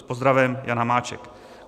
S pozdravem Jan Hamáček."